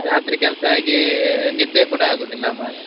ರಾತ್ರಿ ಕೆಲ್ಸ ಆಗಿ, ನಿದ್ದೆ ಕೂಡ ಆಗುದಿಲ್ಲ ಮಾರ್ರೆ.